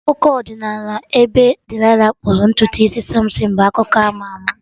Akụkọ ọdịnala ebe Delilah kpụrụ ntutu isi Samson bụ akụkọ ama ama